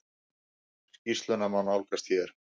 Skýrsluna má nálgast hér.